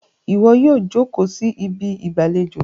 iwọ yíò joko sí Ibi ìgbàlejò!